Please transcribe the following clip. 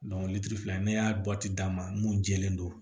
litiri fila ne y'a d'a ma mun jɛlen don